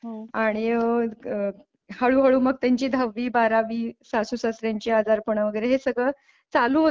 आणि मग हळूहळू मग त्यांची दहावी बारावी सासू सासऱ्यांची आजारपणं वगैरे हे सगळं चालू होत.